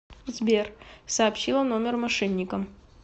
сбер сообщила номер мошенникам